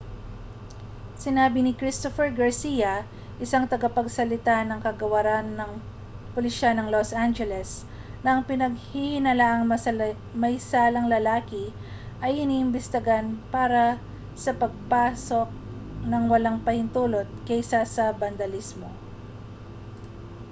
sinabi ni christopher garcia isang tagapagsalita ng kagawaran ng pulisiya ng los angeles na ang pinaghihinalaang maysalang lalaki ay iniimbestigahan para sa pagpasok nang walang pahintulot kaysa sa bandalismo